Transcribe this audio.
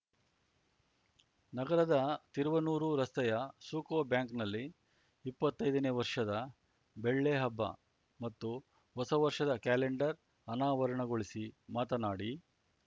ನಗರದ ತುರುವನೂರು ರಸ್ತೆಯ ಸುಕೋ ಬ್ಯಾಂಕ್‌ನಲ್ಲಿ ಇಪ್ಪತ್ತೈದನೇ ವರ್ಷದ ಬೆಳ್ಳೆಹಬ್ಬ ಮತ್ತು ಹೊಸ ವರ್ಷದ ಕ್ಯಾಲೆಂಡರ್ ಅನಾವರಣಗೊಳಿಸಿ ಮಾತನಾಡಿ